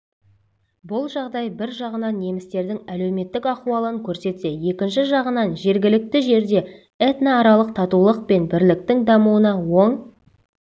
бұл жағдай бір жағынан немістердің әлеуметтік ахуалын көрсетсе екінші жағынан жергілікті жерде этносаралық татулық пен бірліктің дамуына оң